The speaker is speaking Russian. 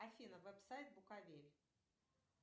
афина веб сайт буковель